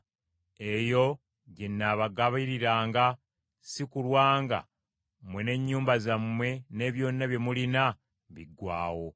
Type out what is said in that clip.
eyo gye nnaabagabiririranga; si kulwa nga mmwe n’ennyumba zammwe ne byonna bye mulina biggwaawo.’